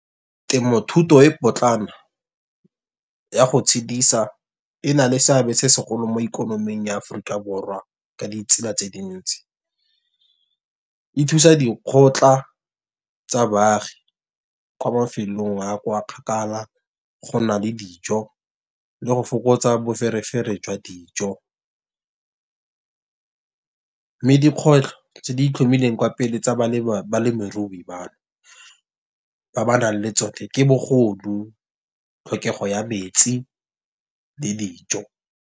Temothuto e potlana ya go tshedisa, e na le seabe se segolo mo ikonoming ya Aforika Borwa ka ditsela tse dintsi. E thusa dikgotla tsa baagi ko mafelong a kwa kgakala, gona le dijo le go fokotsa boferefere jwa dijo. Mme dikgwetlho tse di itlhomileng kwa pele tsa balemirui bano, ba ba nang le tsone ke bogodu tlhokego ya metsi le dijo.